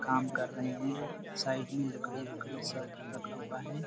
काम कर रहै है साइड में लकड़ी- वकड़ी सब रखा हुआ हैं।